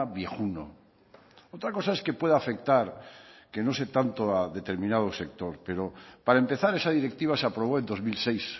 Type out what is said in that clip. viejuno otra cosa es que pueda afectar que no sé tanto a determinado sector pero para empezar esa directiva se aprobó en dos mil seis